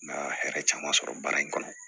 Na hɛrɛ caman sɔrɔ baara in kɔnɔ